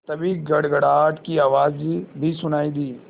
तभी गड़गड़ाहट की आवाज़ भी सुनाई दी